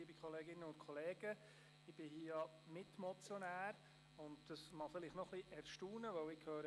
Ich bin Mitmotionär, was Sie vielleicht erstaunen mag.